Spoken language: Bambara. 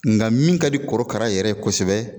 Nka min ka di korokara yɛrɛ ye kosɛbɛ